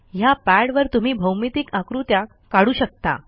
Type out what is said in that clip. ह्या पॅडवर तुम्ही भौमितिक आकृत्या काढू शकता